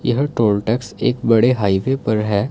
यह toll tax एक बड़े हाईवे पर है।